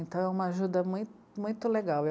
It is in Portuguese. Então é uma ajuda mui, muito legal.